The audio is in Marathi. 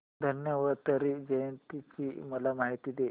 धन्वंतरी जयंती ची मला माहिती दे